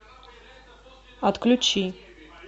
отключи